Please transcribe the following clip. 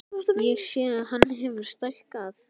Ég sé að hann hefur stækkað.